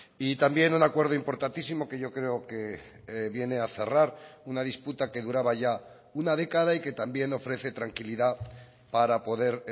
y también un acuerdo importantísimo que yo creo que viene a cerrar una disputa que duraba ya una década y que también ofrece tranquilidad para poder